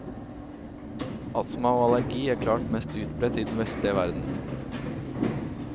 Astma og allergi er klart mest utbredt i den vestlige verden.